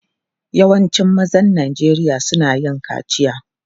Yawancin mazan Najeriya suna yin kaciya.